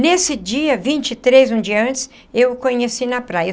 Nesse dia vinte e três, um dia antes, eu o conheci na praia.